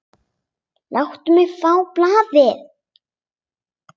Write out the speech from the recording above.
Láttu mig fá blaðið!